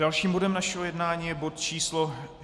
Dalším bodem našeho jednání je bod číslo